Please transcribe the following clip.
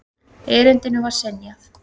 Erindinu var synjað.